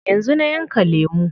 Yanzu na yanka lemu.